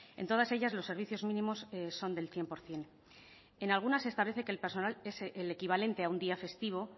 en todas ellas los servicios mínimos son del cien por ciento en alguna se establece que el personal es el equivalente a un día festivo